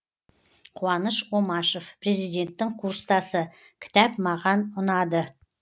қуаныш омашев президенттің курстасы кітап маған ұнады